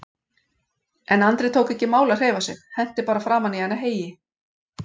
En Andri tók ekki í mál að hreyfa sig, henti bara framan í hana heyi.